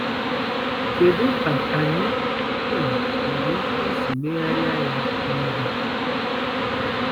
Kedu ka anyị um nwere ike isi megharịa ya n’ihe a?